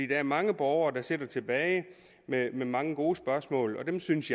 der er mange borgere der sidder tilbage med mange gode spørgsmål og jeg synes